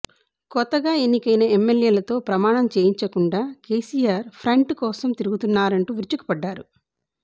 కొత్తగా ఎణ్నికైన ఎమ్మెల్యేలతో ప్రమాణం చెయించకుండా కేసీఆర్ ఫ్రెంట్ కోసం తిరుగుతున్నారంటూ విరుచుకుపడ్డారు